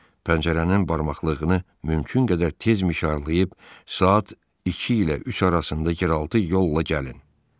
Pəncərənin barmaqlığını mümkün qədər tez mişarlayıb, saat 2 ilə 3 arasında yeraltı yolla gəlin.